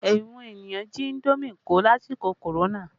Àwọn ènìyàn jí indomi kó lásìkò korona